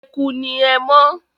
Eku ni ẹmọ́.